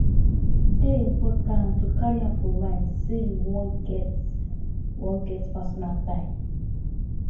e dey important to carry am for mind sey you wan get wan get personal time